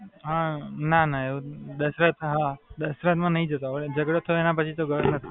ના, ના, દશરથ માં નહીં જતો, જગડો થયો એના પછી તો નહીં ગયો.